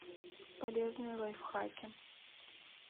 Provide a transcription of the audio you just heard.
полезные лайфхаки